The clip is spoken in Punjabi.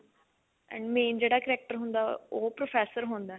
and main ਜਿਹੜਾ character ਹੁੰਦਾ ਉਹ professor ਹੁੰਦਾ